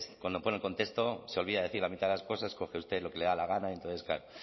cuando pone el contexto se olvida de decir la mitad de las cosas coge usted lo que le da la gana y entonces claro